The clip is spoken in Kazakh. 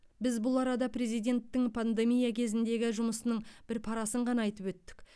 біз бұл арада президенттің пандемия кезіндегі жұмысының бір парасын ғана айтып өттік